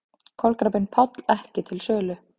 Kolkrabbinn Páll ekki til sölu